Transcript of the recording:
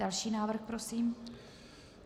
Další návrh prosím.